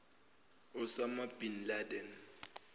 osama bin laden